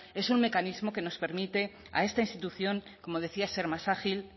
es un mecanismo que nos permite a esta institución como decía ser más ágil